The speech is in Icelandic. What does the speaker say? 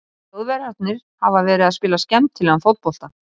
Þjóðverjarnir hafa verið að spila skemmtilegan fótbolta.